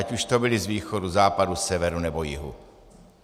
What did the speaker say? Ať už to byli z východu, západu, severu nebo jihu.